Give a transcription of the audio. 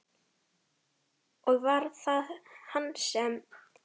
Og var það hann sem.?